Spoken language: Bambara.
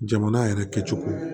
Jamana yɛrɛ kɛcogo